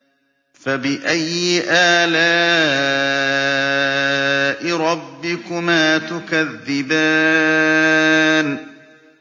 فَبِأَيِّ آلَاءِ رَبِّكُمَا تُكَذِّبَانِ